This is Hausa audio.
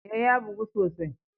Eh, ya bugu sosai.